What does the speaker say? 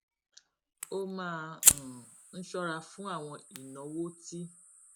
ó máa um ń ṣóra fún àwọn ìnáwó tí